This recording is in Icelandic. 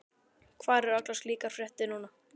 Hvar eru allar slíkar fréttir núna?